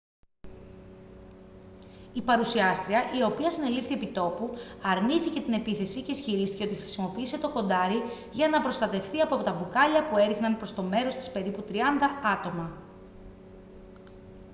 η παρουσιάστρια η οποία συνελήφθη επί τόπου αρνήθηκε την επίθεση και ισχυρίστηκε ότι χρησιμοποίησε το κοντάρι για να προστατευθεί από μπουκάλια που έριχναν προς το μέρος της περίπου τριάντα άτομα